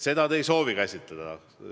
Seda te ei soovi käsitleda.